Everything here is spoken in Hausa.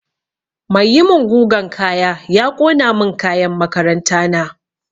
Mai yi min gugan kaya ya ƙona min kayan makaranta na